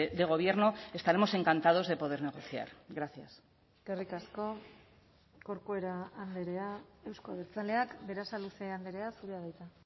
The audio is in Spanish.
de gobierno estaremos encantados de poder negociar gracias eskerrik asko corcuera andrea euzko abertzaleak berasaluze andrea zurea da hitza